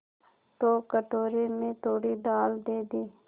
तो कटोरे में थोड़ी दाल दे दे